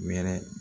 Wɛrɛ